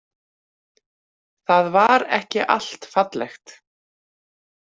Það var ekki allt fallegt.